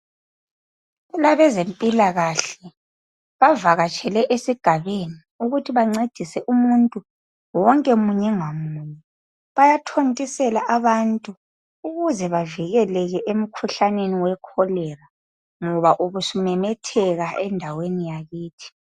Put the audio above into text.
Kulabeze mpilakahle bavakatshele esigabeni ukuthi bancedise umuntu wonke munye ngamunye, bayathontisela abantu ukuze bavikeleleke emkhuhlaneni we kholera ngoba ubusu memetheka endaweni yakithi.